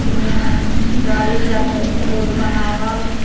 ओने हई गाड़ी जात रोड बनावल।